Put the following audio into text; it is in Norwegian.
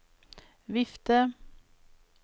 vifte